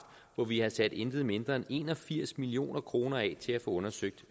hvor vi har sat intet mindre end en og firs million kroner af til at få undersøgt